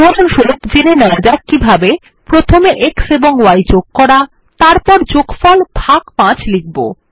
উদাহরণস্বরূপ জেনে নেওয়া যাক কিভাবে প্রথমে x এবং y যোগ করা তারপর যোগফল ভাগ ৫ লিখব